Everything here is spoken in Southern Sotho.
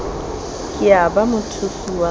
ke ya ba mothusi wa